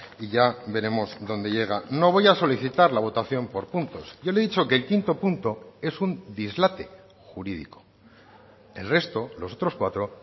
y ya veremos dónde llega no voy a solicitar la votación por puntos yo le he dicho que el quinto punto es un dislate jurídico el resto los otros cuatro